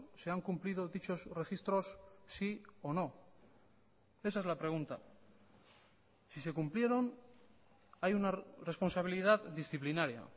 se han cumplido dichos registros sí o no esa es la pregunta si se cumplieron hay una responsabilidad disciplinaria